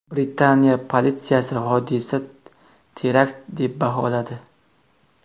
Britaniya politsiyasi hodisa terakt deb baholadi .